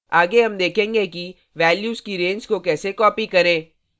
आगे हम देखेंगे कि values की range को कैसे copy करें